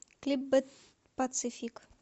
клип бэд пацифик